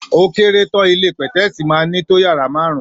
Ò kẹrẹ tàn ìlé pẹtẹsi mà nito yàrá màárún.